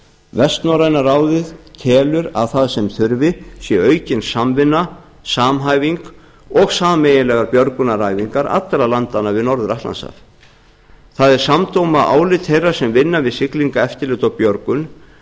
vestnorræna ráðið telur að það sem þurfi sé aukin samvinna samhæfing og sameiginlegar björgunaræfingar allra landanna norður atlantshaf það er samdóma álit þeirra sem vinna við siglingaeftirlit og björgun